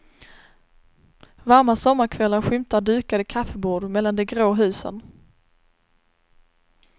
Varma sommarkvällar skymtar dukade kaffebord mellan de grå husen.